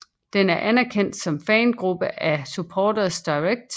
Den er anerkendt som fangruppe af Supporters Direct